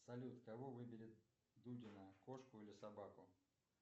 салют кого выберет дудина кошку или собаку